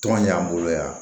Tɔn ɲɛ y'an bolo yan